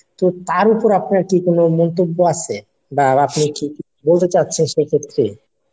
তো তার উপর আপনার কি কোনো মন্তব্য আছে বা আপনি কি কিছু বলতে চাচ্ছেন সেক্ষেত্রে